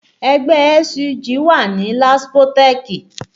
Ẹgbẹ́ SUG wà ní Laspotech